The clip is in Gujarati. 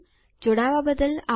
જોડાવા બદ્દલ આભાર